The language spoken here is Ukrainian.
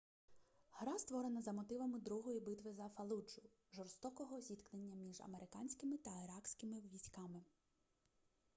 гра створена за мотивами другої битви за фаллуджу жорстокого зіткнення між американськими та іракськими військами